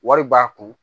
Wari b'a kun